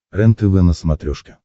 рентв на смотрешке